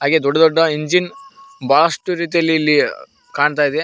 ಹಾಗೆ ದೊಡ್ಡ ದೊಡ್ಡ ಇಂಜಿನ್ ಬಹಳಷ್ಟು ರೀತಿಯಲ್ಲಿ ಇಲ್ಲಿ ಕಾಣ್ತಾ ಇದೆ.